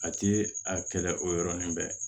A ti a kɛlɛ o yɔrɔnin bɛɛ